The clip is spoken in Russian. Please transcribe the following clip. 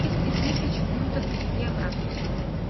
двести тысяч фунтов в евро